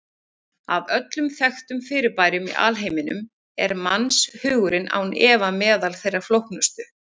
Af öllum þekktum fyrirbærum í alheiminum er mannshugurinn án efa meðal þeirra flóknustu.